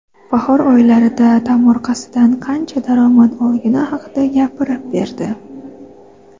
bahor oylarida tomorqasidan qancha daromad olgani haqida gapirib berdi.